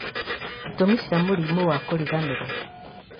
itũmi cia mũrimũ wa kũriganĩrwo